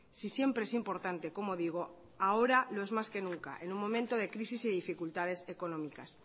si siempre es importante como digo ahora lo es más que nunca en un momento de crisis y dificultades económicas